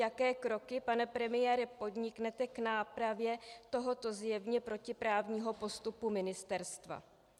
Jaké kroky, pane premiére, podniknete k nápravě tohoto zjevně protiprávního postupu ministerstva?